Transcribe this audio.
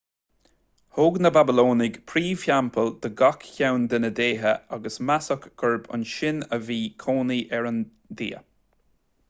thóg na bablónaigh príomhtheampall do gach ceann dá ndéithe agus measadh gurb ansin a bhí cónaí ar an dia